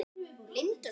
Hann átti engin börn.